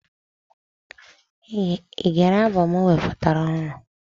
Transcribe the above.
Ị gere abọm o wepụtara ọhụrụ?